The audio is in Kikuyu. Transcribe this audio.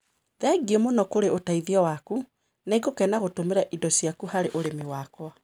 Thengio mũno kũrĩ ũteithio waku. Nĩngũkena gũtũmĩra indo ciaku harĩ ũrĩmi wakwa.